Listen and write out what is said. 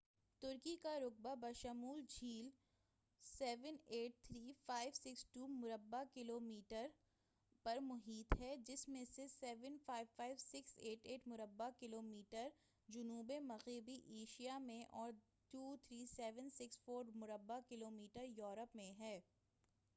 ترکی کا رقبہ بشمول جھیل، 783562 مربع کلومیٹر 300948 مربع میل پر محیط ہے، جس میں سے 755688 مربع کلومیٹر 291773 مربع میل جنوب مغربی ایشیاء میں اور 23764 مربع کلومیٹر 9174 مربع میل یورپ میں ہے۔